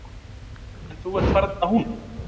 En þú ert varla hún.